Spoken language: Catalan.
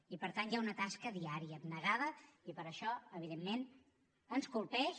i per tant hi ha una tasca diària abnegada i per això evidentment ens colpeix